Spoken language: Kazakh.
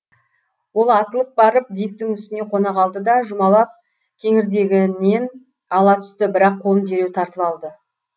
ол атылып барып диктің үстіне қона қалды да жұмалап кеңірдегінен ала түсті бірақ қолын дереу тартып алды